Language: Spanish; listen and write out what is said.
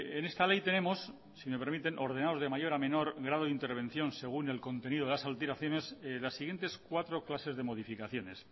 en esta ley tenemos si me permiten ordenados de mayor a menor grado de intervención según el contenido de las alteraciones las siguientes cuatro clases de modificaciones